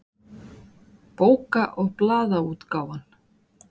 Bóka- og blaðaútgáfan.